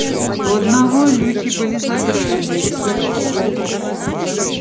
у одного люки были задраены